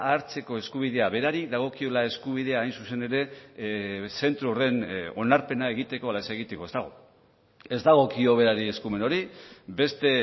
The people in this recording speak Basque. hartzeko eskubidea berari dagokiola eskubidea hain zuzen ere zentro horren onarpena egiteko ala ez egiteko ez dago ez dagokio berari eskumen hori beste